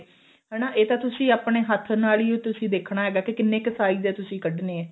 ਹਨਾ ਇਹ ਤਾਂ ਤੁਸੀਂ ਆਪਣੇ ਹੱਥ ਨਾਲ ਹੀ ਤੁਸੀਂ ਦੇਖਣਾ ਕੀ ਕਿੰਨੇ ਕੁ size ਦੇ ਤੁਸੀਂ ਕੱਢਨੇ ਆ